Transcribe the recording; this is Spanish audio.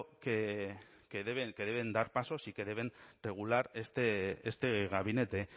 que deben dar pasos y que deben regular este gabinete